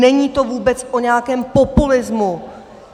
Není to vůbec o nějakém populismu.